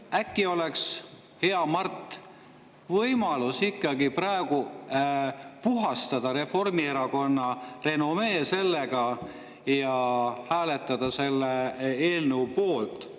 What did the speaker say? Äkki oleks, hea Mart, ikkagi praegu võimalus puhastada Reformierakonna renomee ja hääletada selle eelnõu poolt?